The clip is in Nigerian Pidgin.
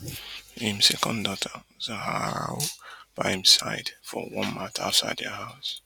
im second daughter zaharau by im side for one mat outside dia house